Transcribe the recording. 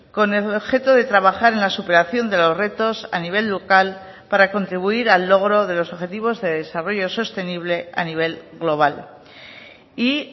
con el objeto de trabajar en la superación de los retos a nivel local para contribuir al logro de los objetivos de desarrollo sostenible a nivel global y